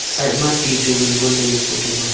side ma ti chu ngan ngo ley e photo ma a.